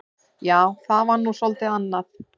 Já, það var nú svolítið annað.